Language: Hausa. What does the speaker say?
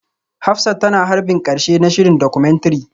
Hafsat tana harbin karshe na shirin Documentary